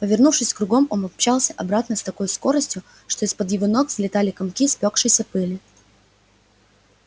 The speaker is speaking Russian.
повернувшись кругом он помчался обратно с такой скоростью что из-под его ног взлетали комки спёкшейся пыли